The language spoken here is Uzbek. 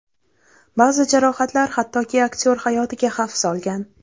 Ba’zi jarohatlar hattoki aktyor hayotiga xavf solgan.